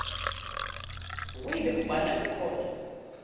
way bekubanda ngakhona